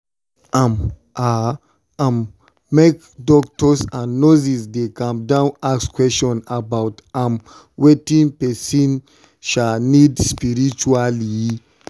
um ah um make doctors and nurses dey calm down ask question about um wetin person need spritually.